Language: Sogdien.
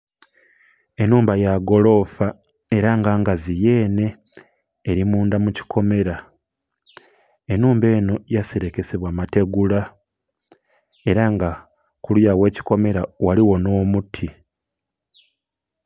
Enhumba yagolofa era nga ngazi yene erimundha mukikomera, enhumba eno bagiserekesa butegula era nga kuluya wakikomera ghaligho n'omuti.